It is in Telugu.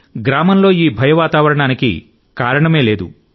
గ్రామంలో ఈ భయ వాతావరణానికి కారణమే లేదు